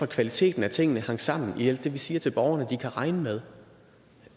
kvaliteten af tingene hang sammen i alt det vi siger til borgerne at de kan regne med